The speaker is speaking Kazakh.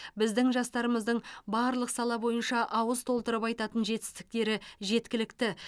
біздің жастарымыздың барлық сала бойынша ауыз толтырып айтатын жетістіктері жеткілікті